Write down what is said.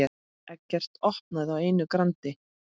Eggert opnaði á einu grandi.